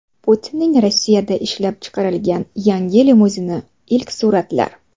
Putinning Rossiyada ishlab chiqarilgan yangi limuzini: ilk suratlar .